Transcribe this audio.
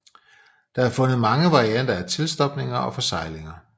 Der er fundet mange varianter af tilstopninger og forseglinger